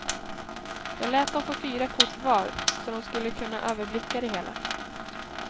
Jag lät dom få fyra kort var, så dom skulle kunna överblicka det hela.